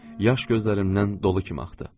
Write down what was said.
Yaş gözlərimdən dolu kimi axdı.